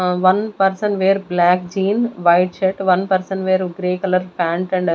Ah one person wear black jean white shirt one person wear grey color pant and--